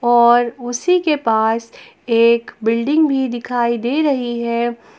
और उसी के पास एक बिल्डिंग भी दिखाई दे रही है।